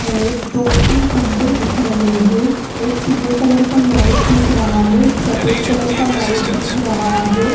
दो तीन खम्बे दिख रहे है एक पिले कलर का लाइट दिख रहा है एक सफ़ेद कलर का लाइट दिख रहा हैं।